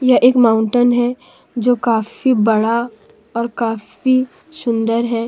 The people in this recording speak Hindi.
यह एक माउंटेन है जो काफी बड़ा और काफी सुन्दर हैं।